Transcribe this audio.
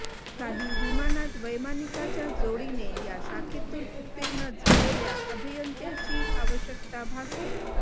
काही विमानात वैमानिकाच्या जोडीने या शाखेतून उत्तीर्ण झालेल्या अभियंत्याची आवश्यकता भासते